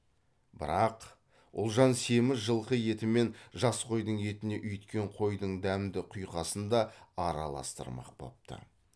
бірақ ұлжан семіз жылқы еті мен жас қойдың етіне үйіткен қойдың дәмді құйқасын да араластырмақ бопты